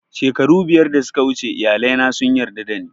Shekaru biyar da suka wuce iyali na sun yarda da ni